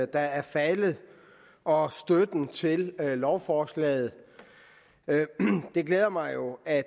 der er faldet og støtten til lovforslaget det glæder mig jo at